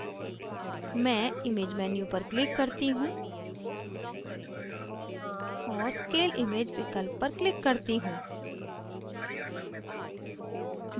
मैं image menu पर click करती हूँ और scale image विकल्प पर click करती हूँ